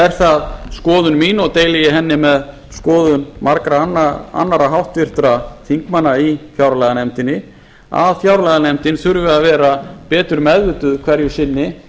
er það skoðun mín og deili ég henni með skoðun margra annarra háttvirtra þingmanna í fjárlaganefndinni að fjárlaganefndin þurfi að vera betur meðvituð hverju sinni